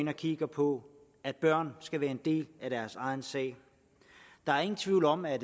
har kigget på at børn skal være en del af deres egen sag der er ingen tvivl om at